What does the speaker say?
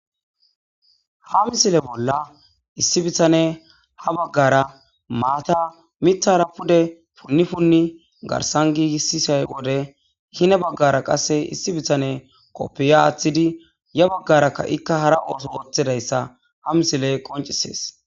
Ha missile bolla issi bittaneyi ha baggara matta miththara pudde puni puni garssan gigisiza wode hini baggara qase issi bittaneyi koppya aththidi ya baggarakka ikka hara oththo othiyayisa ha missiley qonccises.